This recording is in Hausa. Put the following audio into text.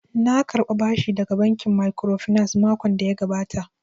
Na karɓa bashi daga bankin microfinance makon da ya gabata